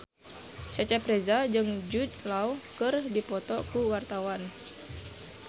Cecep Reza jeung Jude Law keur dipoto ku wartawan